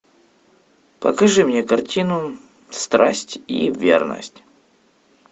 покажи мне картину страсть и верность